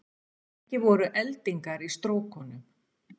Ekki voru eldingar í stróknum